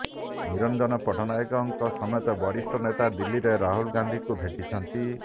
ନିରଞ୍ଜନ ପଟ୍ଟନାୟକଙ୍କ ସମେତ ବରିଷ୍ଠ ନେତା ଦିଲ୍ଲୀରେ ରାହୁଲ ଗାନ୍ଧିଙ୍କୁ ଭେଟିଛନ୍ତି